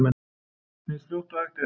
Eins fljótt og hægt er.